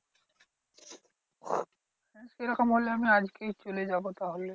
সেরকম হলে আমি আজকেই চলে যাবো তাহলে।